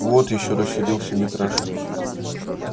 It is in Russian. вот ещё рассердился митраша